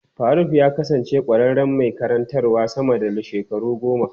Faruk ya kasance ƙwararren mai karantawa sama da shekaru goma.